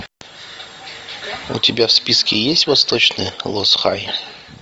у тебя в списке есть восточный лос хай